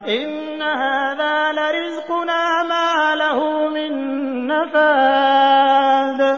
إِنَّ هَٰذَا لَرِزْقُنَا مَا لَهُ مِن نَّفَادٍ